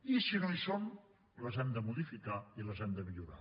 i si no hi són les hem de modificar i les hem de millorar